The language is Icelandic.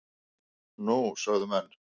Nú? sögðu menn.